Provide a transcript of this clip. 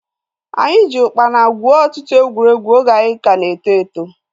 Anyị ji ukpana gwuo ọtụtụ egwuregwu oge anyị ka na-eto eto